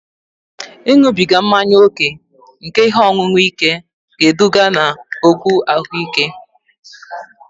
Ịṅụbiga mmanya ókè nke ihe ọṅụṅụ ike ga-eduga n'okwu ahụike